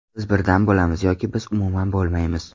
Biz birdam bo‘lamiz, yoki biz umuman bo‘lmaymiz.